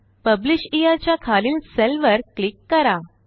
publisher च्या खालील cell वर क्लिक करा